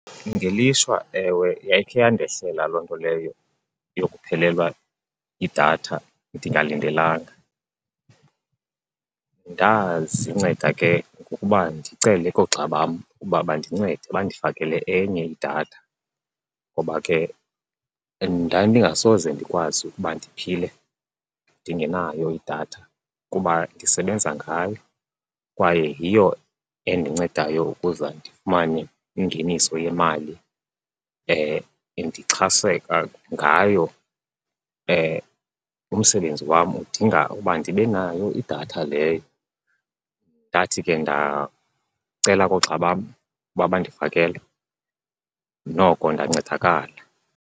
Ngelishwa, ewe, yayikhe yandehlela loo nto leyo yokuphelelwa yidatha ndingalindelanga. Ndazinceda ke ngokuba ndicele koogxa bam uba bandincede bandifakele enye idatha ngoba ke ndandingasoze ndikwazi ukuba ndiphile ndingenayo idatha kuba ndisebenza ngayo kwaye yiyo endincedayo ukuze ndifumane ingeniso yemali, ndixhaseka ngayo. Umsebenzi wam udinga ndibe nayo idatha leyo. Ndathi ke ndacela koogxa bam uba bandifakele, noko ndancedakala.